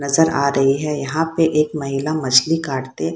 नजर आ रही है यहाँ पे एक महिला मछली काटते।